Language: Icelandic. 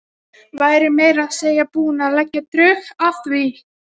Væri meira að segja búin að leggja drög að því.